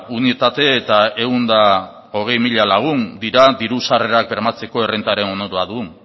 unitate eta ehun eta hogei mila lagun dira diru sarrerak bermatzeko errentaren onuradun